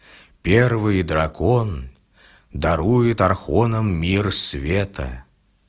первый дракон дарует архонам мир света